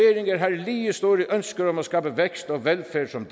store ønsker om at skabe vækst og velfærd som